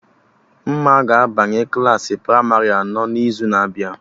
Mma ga-abanye Klassị pramarị anọ n'izu na-abịa